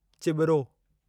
चिॿिरो